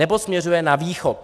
Nebo směřuje na Východ.